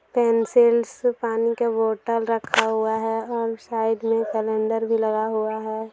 Pencils पानी के bottle रखा हुआ है और साइड में कैलेंडर भी लगा हुआ हैं।